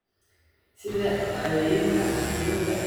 sida dhacdooyinka quudinta eeyga.